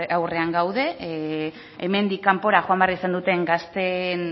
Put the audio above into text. aurrean gaude hemendik kanpora joan behar izan duten gazteen